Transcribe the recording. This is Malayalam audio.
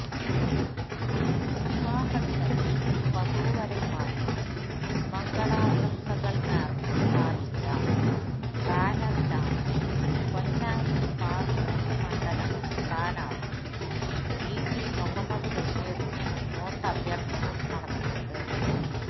വിവാഹദിനത്തില് വധൂവരന്മാര്ക്ക് മംഗളാശംസകള് നേര്ന്ന് സ്ഥാപിച്ച ബാനറിലാണ് പൊന്നാനി പാര്ലമെന്റ് മണ്ഡലം സ്ഥാനാര്ത്ഥി ഇടി മുഹമ്മദ് ബഷീറിന് വോട്ടഭ്യര്ത്ഥന നടത്തിയത്